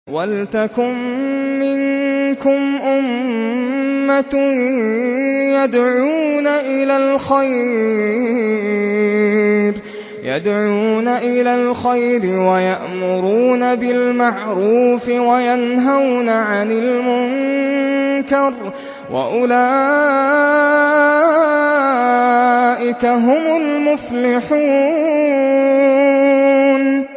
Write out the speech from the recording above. وَلْتَكُن مِّنكُمْ أُمَّةٌ يَدْعُونَ إِلَى الْخَيْرِ وَيَأْمُرُونَ بِالْمَعْرُوفِ وَيَنْهَوْنَ عَنِ الْمُنكَرِ ۚ وَأُولَٰئِكَ هُمُ الْمُفْلِحُونَ